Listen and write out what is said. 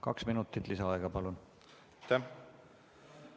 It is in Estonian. Kaks minutit lisaaega, palun!